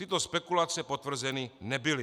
Tyto spekulace potvrzeny nebyly.